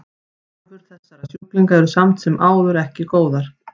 Horfur þessara sjúklinga eru samt sem áður eru ekki góðar.